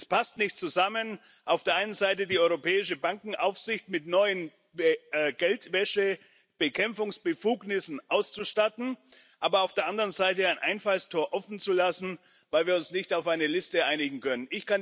Es passt nicht zusammen, auf der einen Seite die europäische Bankenaufsicht mit neuen Geldwäschebekämpfungsbefugnissen auszustatten, aber auf der anderen Seite ein Einfallstor offen zu lassen, weil wir uns nicht auf eine Liste einigen können.